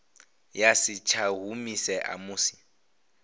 ya si tsha humisea musi